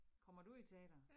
Kommer du i teatret?